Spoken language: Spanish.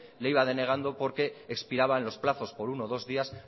le iba denegando porque expiraban los plazos por uno o dos días